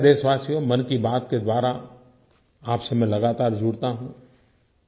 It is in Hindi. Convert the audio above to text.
मेरे प्यारे देशवासियो मन की बात के द्वारा आपसे मैं लगातार जुड़ता हूँ